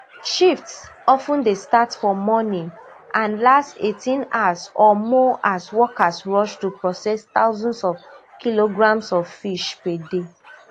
shifts of ten dey start for morning and last eighteen hours or more as workers rush to process thousands of kilograms of fish per day